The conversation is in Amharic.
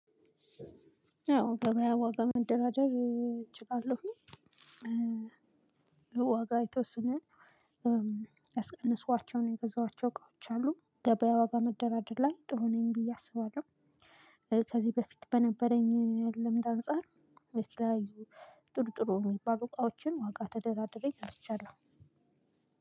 ያው ገበያ ዋጋ መደራደር እችላለሁኝ። ዋጋ የተወሰነ ያስቀነስኳቸውን የገዛኋቸው እቃዎች አሉ። ገበያ ዋጋ መደራደር ላይ ጥሩ ነኝ ብዬ አስባለሁ። ከዚህ በፊት በነበረኝ ልምድ አንፃር የተለያዩ ጥሩ ጥሩ የሚባሉ እቃዎችን ዋጋ ተደራድሬ ገዝቻለሁ።